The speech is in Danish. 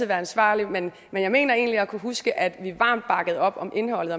være ansvarlig men jeg mener egentlig at kunne huske at vi varmt bakkede op om indholdet